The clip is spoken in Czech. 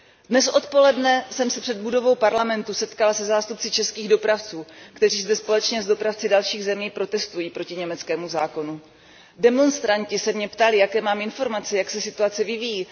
Dnes odpoledne jsem se před budovou Parlamentu setkala se zástupci českých dopravců, kteří zde společně s dopravci dalších zemí protestují proti německému zákonu. Demonstranti se mě ptali, jaké mám informace, jak se situace vyvíjí.